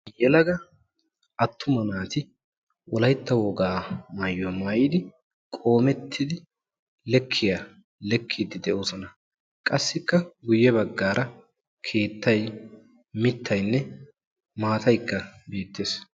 Yeelaga attuma naati wolaytta wogaa maayuwaa maayidi qommettidi leekiya leekidi deosona. Qassi guyye baggara keettaay miittay maataay bettees.